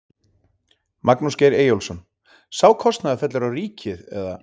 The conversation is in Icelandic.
Magnús Geir Eyjólfsson: Sá kostnaður fellur á ríkið eða?